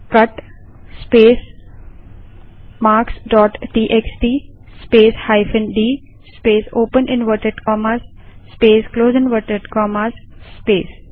cut space marks dot TXT space hyphen D space open inverted commas space close inverted commas space